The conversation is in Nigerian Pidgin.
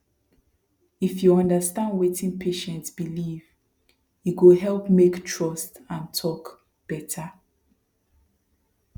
if you understand wetin patient believe e go help make trust and talk better